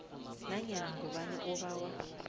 nanyana ngubani obawa